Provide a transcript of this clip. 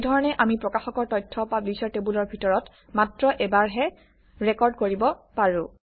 এই ধৰণে আমি প্ৰকাশকৰ তথ্য পাব্লিশ্বাৰ টেবুলৰ ভিতৰত মাত্ৰ এবাৰহে ৰেকৰ্ড কৰিব পাৰো